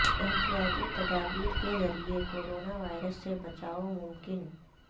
احتیاطی تدابیر کے ذریعہ کورونا وائرس سے بچائو ممکن